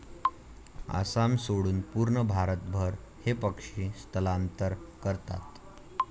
आसाम सोडून पूर्ण भारतभर हे पक्षी स्थलांतर करतात.